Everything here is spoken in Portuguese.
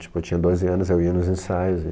Tipo, eu tinha doze anos, eu ia nos ensaios né